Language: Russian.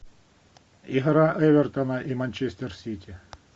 игра эвертона и манчестер сити